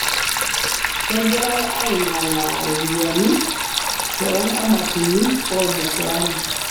Kegirai aing'alaa ropiyani to nkamatini oo mkoani